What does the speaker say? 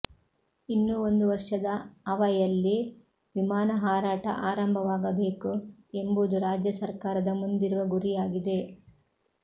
ಇನ್ನು ಒಂದು ವರ್ಷದ ಅವಯಲ್ಲಿ ವಿಮಾನ ಹಾರಾಟ ಆರಂಭವಾಗಬೇಕು ಎಂಬುದು ರಾಜ್ಯ ಸರ್ಕಾರದ ಮುಂದಿರುವ ಗುರಿಯಾಗಿದೆ